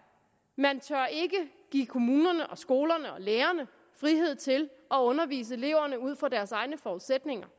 man tør ikke give kommunerne og skolerne og lærerne frihed til at undervise eleverne ud fra deres egne forudsætninger